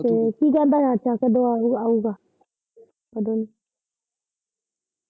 ਤੇ ਕੀ ਕਹਿੰਦਾ ਚਾਚਾ ਕਦ, ਕਦੋਂ ਆਉ ਆਊਗਾ ਕਦੋਂ।